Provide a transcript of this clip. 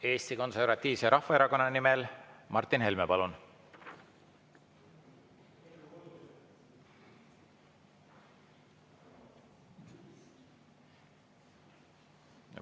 Eesti Konservatiivse Rahvaerakonna nimel Martin Helme, palun.